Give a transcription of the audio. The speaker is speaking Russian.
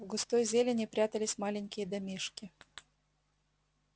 в густой зелени прятались маленькие домишки